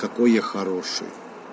какой я хороший